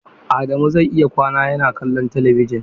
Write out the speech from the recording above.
Adamu zai iya kwana yana kallon talabijin.